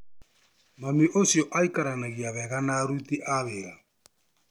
Mami ũcio aikaranagia wega na aruti a wĩra.